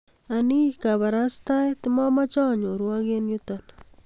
ang'ii kabarastaet mamache anyorwok eng yuto